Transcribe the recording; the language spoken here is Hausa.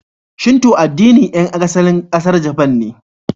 Shinto addinin ƴan asalin ƙasar Japan ne.